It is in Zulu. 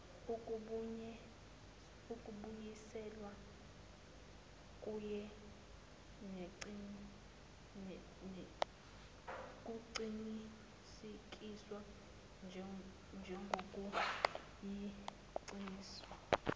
kubuyiselwa kuqinisekiswe njengokuyiqiniso